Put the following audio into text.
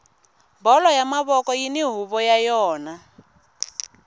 bolo ya mavoko yini huvo ya yona